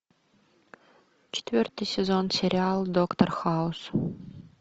четвертый сезон сериал доктор хаус